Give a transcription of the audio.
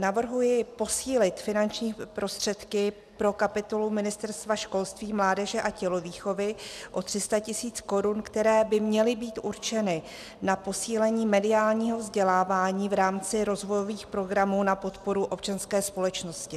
Navrhuji posílit finanční prostředky pro kapitolu Ministerstva školství, mládeže a tělovýchovy o 300 mil. Kč, které by měly být určeny na posílení mediálního vzdělávání v rámci rozvojových programů na podporu občanské společnosti.